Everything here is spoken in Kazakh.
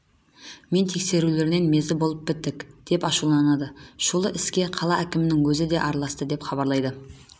мен тексерулерінен мезі болып біттік деп ашуланады шулы іске қала әкімінің өзі араласты деп хабарлайды